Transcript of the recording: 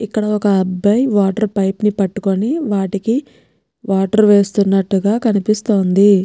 ఇక్కడ ఒక్క అబ్బాయి వాటర్ పైప్ ని పట్టుకొని వాటికి వాటర్ వేస్తున్నట్లుగా కనిపిస్తోంది.